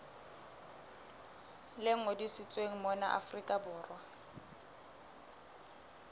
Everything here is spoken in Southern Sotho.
le ngodisitsweng mona afrika borwa